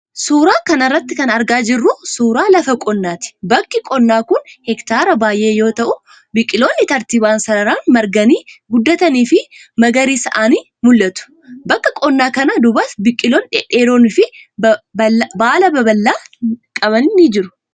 Suura kana irratti kan argaa jirru kun, suura lafa qonnaati. Bakki qonnaa kun heektaara baay'ee yoo ta'u, biqiloonni tartiibaan sararaan marganii ,guddatanii fi magariisa'anii mul'atu. Bakka qonnaa kana duubas, biqiloonni dhedheeroon fi baala babal'aa ni qaban ni jiru.